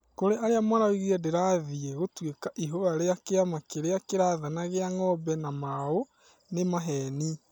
Kũrĩ arĩa maraugire ndĩrathiĩ gũtuĩka ihũa rĩa kĩama kĩrĩa kĩrathana gĩa Ng'ombe na mau nĩ maheni.